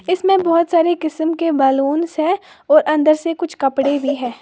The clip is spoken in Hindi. इसमें बहुत सारे किसीम के बलूंस हैं और अंदर से कुछ कपड़े भी है।